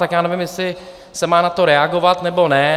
Tak já nevím, jestli se má na to reagovat, nebo ne.